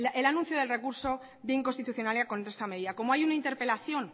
el anuncio del recurso de inconstitucionalidad contra esta medida como hay una interpelación